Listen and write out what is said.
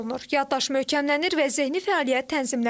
Yaddaş möhkəmlənir və zehni fəaliyyət tənzimlənir.